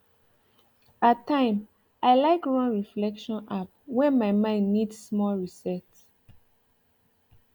at time i like run reflection app when my mind need small restart